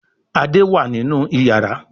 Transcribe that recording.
Ade wá nínú iyàrá.